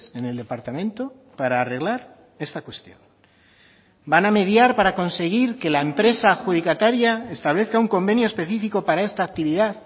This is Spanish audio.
en el departamento para arreglar esta cuestión van a mediar para conseguir que la empresa adjudicataria establezca un convenio específico para esta actividad